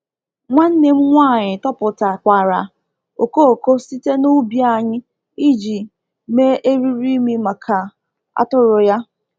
Nwanne m nwanyị tọpụtakwara okooko site n’ubi anyị iji mee eriri imi maka atụrụ ya.